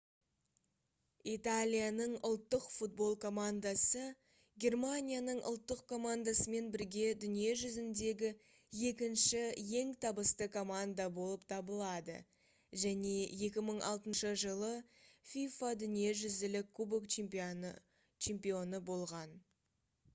италияның ұлттық футбол командасы германияның ұлттық командасымен бірге дүние жүзіндегі екінші ең табысты команда болып табылады және 2006 жылы fifa дүниежүзілік кубок чемпионы болған